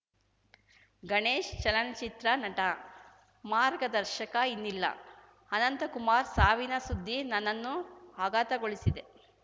ಗಣೇಶ್‌ ಚಲನಚಿತ್ರ ನಟ ಮಾರ್ಗದರ್ಶಕ ಇನ್ನಿಲ್ಲ ಅನಂತಕುಮಾರ್‌ ಸಾವಿನ ಸುದ್ದಿ ನನ್ನನ್ನು ಆಘಾತಗೊಳಿಸಿದೆ